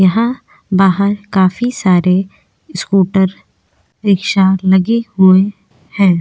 यहां बाहर काफी सारे स्कूटर रिक्शा लगे हुए हैं।